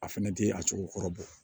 A fɛnɛ tɛ a cogo kɔrɔ bɔ